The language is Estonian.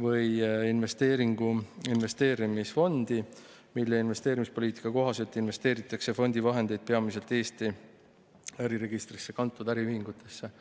või investeeringu investeerimisfondi, mille investeerimispoliitika kohaselt investeeritakse fondi vahendeid peamiselt Eesti äriregistrisse kantud äriühingutesse.